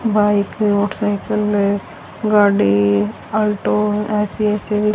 bike है motorcycle है गाड़ी ऑटो ऐसी ऐसी--